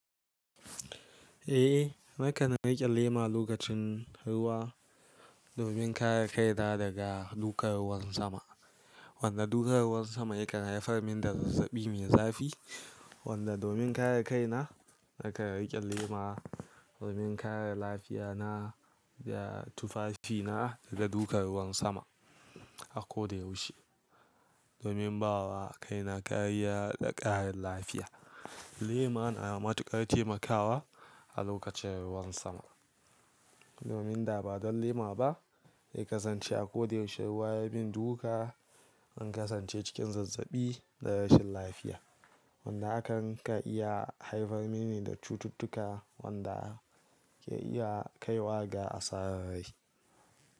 Eh, nakan riƙe lema lokacin ruwa domin kare kaina daga dukan ruwan sama. Wanda dukan ruwan sama yakan haifar mini da zazzabi mai zafi. Wanda domin kare kaina, nakan riƙe lema domin kare lafiyana da tufafina daga dukan ruwan sama a ko da ya ushe. Domin bawa kaina kariyar da ƙarin lafiya. Lema na matuƙar taimakawa a lokacin ruwan sama. Domin da ba don lema ba, zai kasance a ko da yaushe ruwa yayimin duka, zan kasance cikin zazzabi da rashin lafiya. Wanda hakan kan iya haifar mini da cututtuka wanda ke iya kaiwa ga asarar rai.